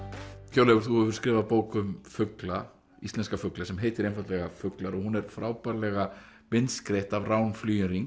Hjörleifur þú hefur skrifað bók um fugla íslenska fugla sem heitir einfaldlega fuglar og hún er frábærlega myndskreytt af Rán